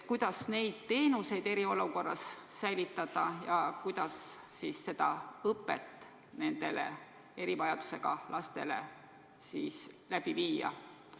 Kuidas neid teenuseid eriolukorras säilitada ja kuidas seda õpet erivajadusega laste puhul läbi viia?